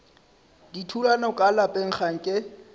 dithulano ka lapeng ga nke